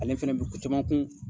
Ale fɛnɛ bɛ kocaman kun.